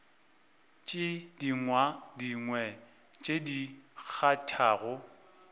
tše dingwe tše di kgathago